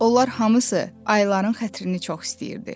Onlar hamısı ayların xətrini çox istəyirdi.